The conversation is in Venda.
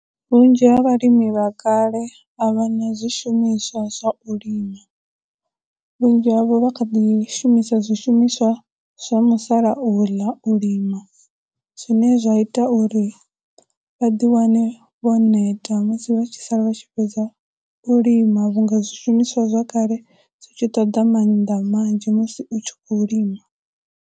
Vhunzhi ha vhalimi vha kale a vha na zwishumiswa zwa u lima, vhunzhi havho vha kha ḓi shumisa zwishumiswa zwa musalauḽa u lima, zwine zwa ita uri vha ḓi wane vho neta musi vha tshi sala vha tshi fhedza u lima vhunga zwishumiswa zwa kale dzi tshi ṱoḓa mannḓa manzhi musi u tshi khou lima.